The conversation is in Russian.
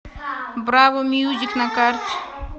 браво мьюзик на карте